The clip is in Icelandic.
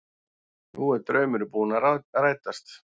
Nú er draumurinn búinn að rætast